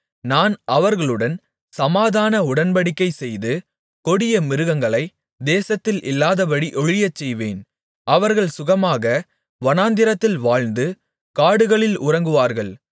நான் அவர்களுடன் சமாதான உடன்படிக்கைசெய்து கொடிய மிருகங்களைத் தேசத்தில் இல்லாதபடி ஒழியச்செய்வேன் அவர்கள் சுகமாக வனாந்திரத்தில் வாழ்ந்து காடுகளில் உறங்குவார்கள்